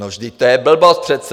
No vždyť to je blbost přece.